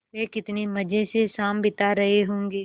वे कितने मज़े से शाम बिता रहे होंगे